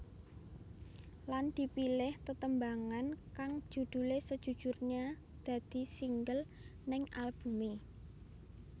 Lan dipilih tetembangan kang judulé Sejujurnya dadi single ning albumé